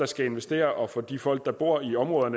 skal investere og for de folk der bor i området